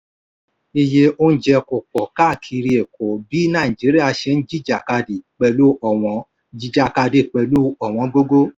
iye oúnjẹ kó pọ̀ káàkiri èkó bí nàìjíríà ṣe ń jìjàkadì pẹ̀lú ọ̀wọ́n jìjàkadì pẹ̀lú ọ̀wọ́n gógó.